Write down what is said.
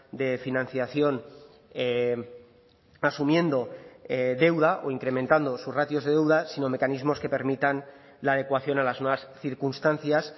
de financiación asumiendo deuda o incrementando sus ratios de deuda sino mecanismos que permitan la adecuación a las nuevas circunstancias